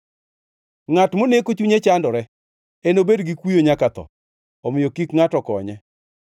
Ngʼat moneko chunye chandore enobed gi kuyo nyaka otho; omiyo kik ngʼato konye.